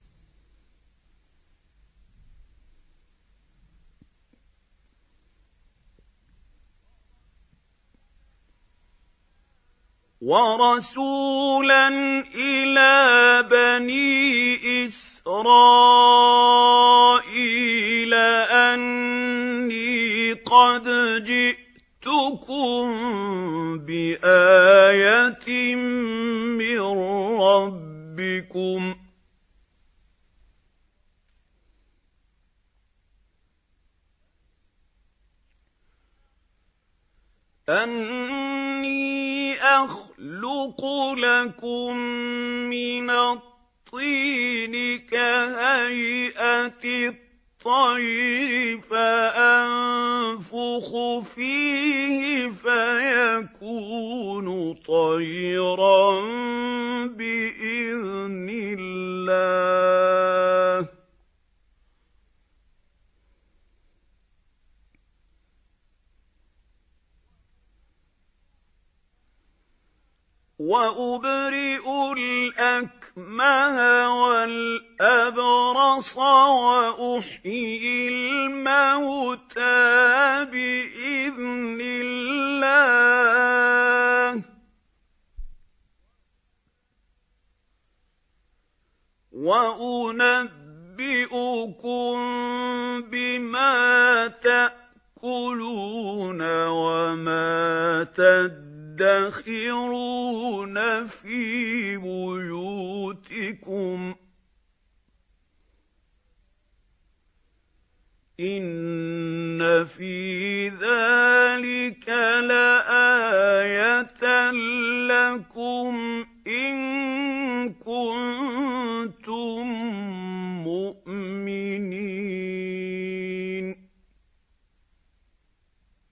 وَرَسُولًا إِلَىٰ بَنِي إِسْرَائِيلَ أَنِّي قَدْ جِئْتُكُم بِآيَةٍ مِّن رَّبِّكُمْ ۖ أَنِّي أَخْلُقُ لَكُم مِّنَ الطِّينِ كَهَيْئَةِ الطَّيْرِ فَأَنفُخُ فِيهِ فَيَكُونُ طَيْرًا بِإِذْنِ اللَّهِ ۖ وَأُبْرِئُ الْأَكْمَهَ وَالْأَبْرَصَ وَأُحْيِي الْمَوْتَىٰ بِإِذْنِ اللَّهِ ۖ وَأُنَبِّئُكُم بِمَا تَأْكُلُونَ وَمَا تَدَّخِرُونَ فِي بُيُوتِكُمْ ۚ إِنَّ فِي ذَٰلِكَ لَآيَةً لَّكُمْ إِن كُنتُم مُّؤْمِنِينَ